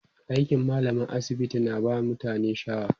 aikin mallamar asibiti na ba mutane shaaw